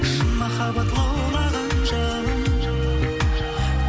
шын махаббат лаулаған жалын